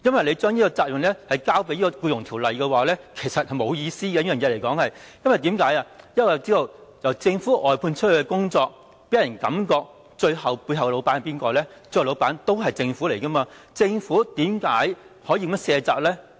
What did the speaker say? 你將這個責任推給《僱傭條例》是沒有意思的，因為我們知道由政府外判的工作予人的感覺政府是背後的老闆，政府為何可以這樣卸責呢？